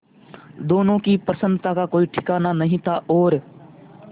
दोनों की प्रसन्नता का कोई ठिकाना नहीं था और